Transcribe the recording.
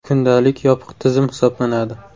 ‘Kundalik’ yopiq tizim hisoblanadi.